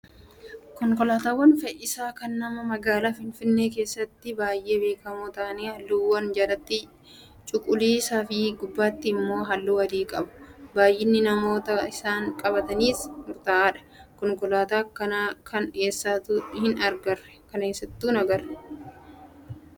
Konkolaataawwan fe'iisaa kan namaa magaalaa Finfinnee keessatti baay'ee beekamoo ta'an halluuwwan jalatti cuquliisaa fi gubbaatti immoo halluu adii qabu. Baay'inni namootaa isaan qabataniis murtaa'aadha. Konkolaataa akkanaa kana eessattuu hin agarre.